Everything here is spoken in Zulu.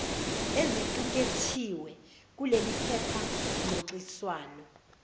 ezicukethwe kuleliphepha ngxoxiswano